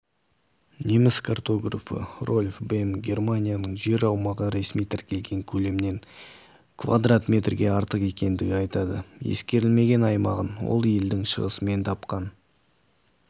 неміс картографы рольф бем германияның жер аумағы ресми тіркелген көлемнен кв метрге артық екендігін айтады ескерілмеген аймағын ол елдің шығысынан тапқан